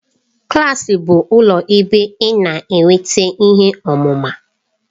Klaasị bụ ụlọ ebe ị na-enweta ihe ọmụma.